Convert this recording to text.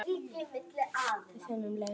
Við finnum leið.